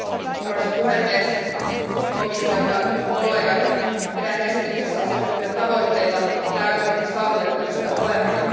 Arvoisa puhemies, komissio, hyvät kollegat, pidän esityksissä asetettuja tavoitteita täysin saavutettavissa olevina.